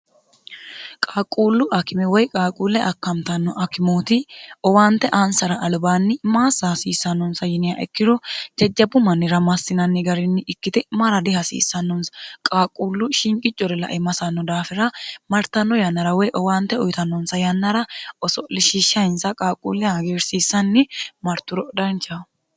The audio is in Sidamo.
qaaquullu akime woy qaaquulle akkamtanno akimooti owaante aansara alubaanni maassa hasiissannonsa yini ikkiro jajjabbu mannira massinanni garinni ikkite mara dihasiissannonsa qaaquullu shinqi core lae masanno daafira martanno yannara woy owaante uyitannonsa yannara oso'lishishshainsa qaaquulle hagiirsiissanni marturo dancaho